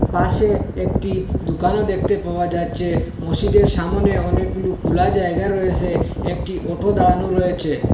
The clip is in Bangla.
পাশে একটি দোকানও দেখতে পাওয়া যাচ্ছে মসিদের সামোনে অনেকগুলো খোলা জায়গা রয়েসে একটি অটো দাঁড়ানো রয়েছে।